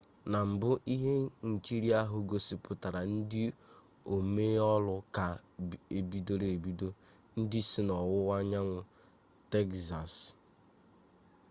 na mbụ ihe nkiri ahụ gosipụtara ndị omee olu ka bidoro ebido ndị si n'ọwụwa anyanwụ tegzas